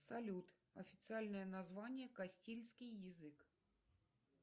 салют официальное название костильский язык